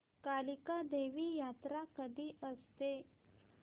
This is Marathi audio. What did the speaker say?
कालिका देवी यात्रा कधी असते